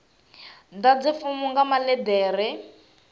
ḓadze fomo nga maḽe ḓere